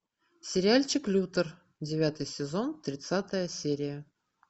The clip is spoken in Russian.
сериальчик лютер девятый сезон тридцатая серия